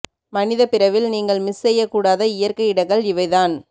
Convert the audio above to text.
மனித பிறவில் நீங்கள் மிஸ் செய்யக்கூடாத இயற்கை இடங்கள் இவை தான்